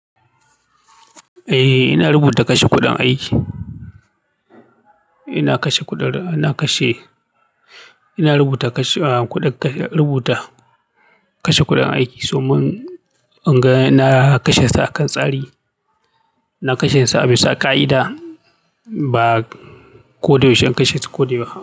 Eh, ina rubuta kashe kuɗin aiki. Ina kashe kuɗin, ina kashe, ina rubuta kashe kuɗin rubuta kashe kuɗin aiki, so mun, in ga na kashe ta akan tsari. Na kashe su abisa ka'ida, ba ko da yaushe in kashe ta ko dai ba.